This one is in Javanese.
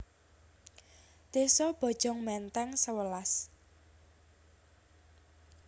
Désa Bojong Menteng sewelas